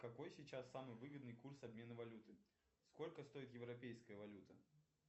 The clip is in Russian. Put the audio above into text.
какой сейчас самый выгодный курс обмена валюты сколько стоит европейская валюта